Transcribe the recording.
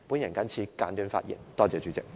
我謹此簡短發言，多謝主席。